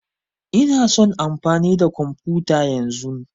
Ina son amfani da kwamfuta yanzun.